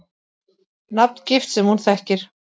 Nafngift sem hún þekkir.